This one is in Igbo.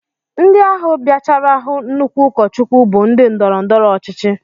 Ndị ahụ bịachara hụ nnukwu ụkọchukwu bụ ndị ndọrọndọrọ ọchịchị